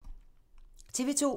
TV 2